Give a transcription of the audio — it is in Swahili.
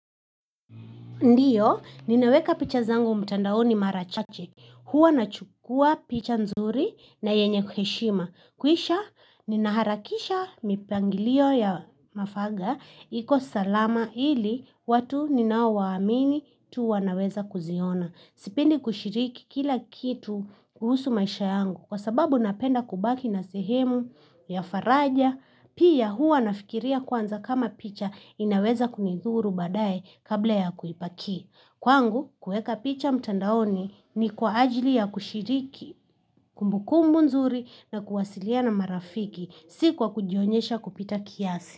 Ndiyo, ninaweka picha zangu mtandaoni mara chache. Huwa nachukua picha nzuri na yenye heshima. Kisha, ninaharakisha mipangilio ya mafaga. Iko salama ili watu ninaowaamini tu wanaweza kuziona. Sipendi kushiriki kila kitu kuhusu maisha yangu. Kwa sababu napenda kubaki na sehemu ya faraja Pia huwa nafikiria kwanza kama picha inaweza kunidhuru badaye kabla ya kuipaki. Kwangu, kuweka picha mtandaoni ni kwa ajili ya kushiriki, kumbukumbu nzuri na kuwasiliana marafiki, si kwa kujionyesha kupita kiasi.